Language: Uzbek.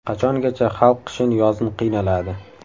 Qachongacha xalq qishin-yozin qiynaladi.